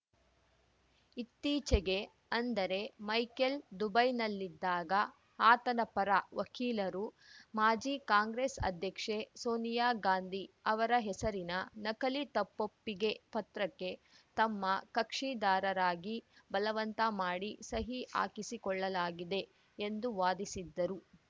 ಇತ್ತೀಚೆಗೆ ಅಂದರೆ ಮೈಕೆಲ್‌ ದುಬೈನಲ್ಲಿದ್ದಾಗ ಆತನ ಪರ ವಕೀಲರು ಮಾಜಿ ಕಾಂಗ್ರೆಸ್‌ ಅಧ್ಯಕ್ಷೆ ಸೋನಿಯಾ ಗಾಂಧಿ ಅವರ ಹೆಸರಿನ ನಕಲಿ ತಪ್ಪೊಪ್ಪಿಗೆ ಪತ್ರಕ್ಕೆ ತಮ್ಮ ಕಕ್ಷಿದಾರರಾಗಿ ಬಲವಂತ ಮಾಡಿ ಸಹಿ ಹಾಕಿಸಿಕೊಳ್ಳಲಾಗಿದೆ ಎಂದು ವಾದಿಸಿದ್ದರು